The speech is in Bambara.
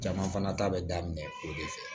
Caman fana ta bɛ daminɛ o de fɛ